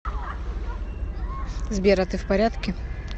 сбер а ты в порядке